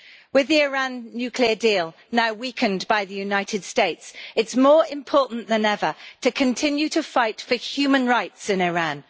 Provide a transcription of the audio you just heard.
With the Iran nuclear deal now weakened by the United States, it is more important than ever to continue to fight for human rights in Iran.